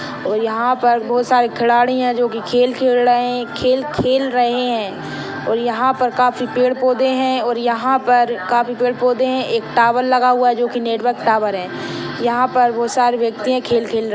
और यहाँ पर बहुत सारी खिलाडि है जो की खेळ खेल खेल रह है खेल-खेल रहे है और यहाँ हा पर काफी पेड़-पौधे है और यहाँ पर काफी पेड़-पौधे है एक टावर लगा हुआ है जो की नेटवर्क टावर है यहाँ पर बहुत सारे व्यक्तिया खेल खेल रहे--